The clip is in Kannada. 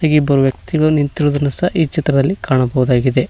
ಇಲ್ಲಿ ಇಬ್ಬರು ವ್ಯಕ್ತಿಗಳು ನಿಂತಿರುವುದನ್ನು ಸಹ ಈ ಚಿತ್ರದಲ್ಲಿ ಕಾಣಬೋದಾಗಿದೆ.